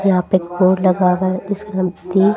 और यहां पे एक बोर्ड लगा हुआ है जिसके हम ती--